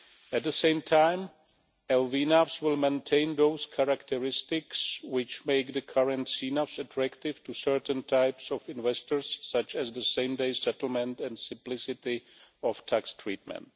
At the same time LVNAVs will maintain those characteristics which make the currency most attractive to certain types of investors, such as same day settlement and simplicity of tax treatment.